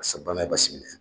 pasa bana ye Basi minɛ.